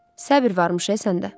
Səbr varmış e səndə.